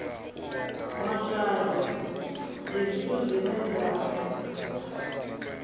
matshwayo ndi zwithu zwine zwa